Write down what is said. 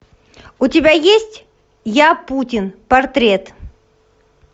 у тебя есть я путин портрет